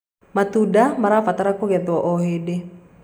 matunda marabatara kũgethwo o hĩndĩ